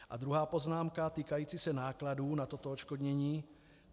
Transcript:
A druhá poznámka týkající se nákladů na toto odškodnění.